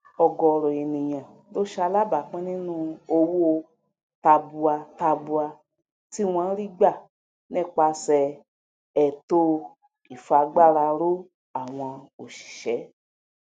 ọgọọrọ ènìyàn ló salábápín nínú owó tàbùàtabua tí wọn rígbà nípaṣẹẹ ẹto ìfagbáraró àwọn òṣìṣẹ